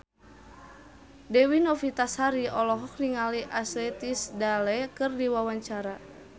Dewi Novitasari olohok ningali Ashley Tisdale keur diwawancara